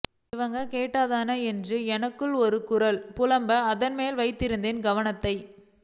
இவனுங்க கேட்டாத்தான என்று எனக்குள் ஒரு குரல் புலம்ப அதன் மேலேயே வைத்திருந்தேன் கவனத்தை